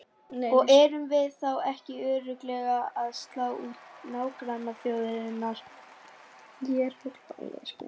Og erum við þá ekki örugglega að slá út nágrannaþjóðirnar?